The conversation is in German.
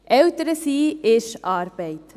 » Eltern sein ist Arbeit.